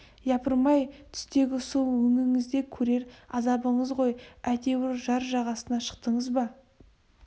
япырмай түстегі су өңіңізде көрер азабыңыз ғой әйтеуір жар жағасына шықтыңыз ба